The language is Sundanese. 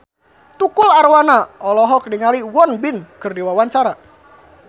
Tukul Arwana olohok ningali Won Bin keur diwawancara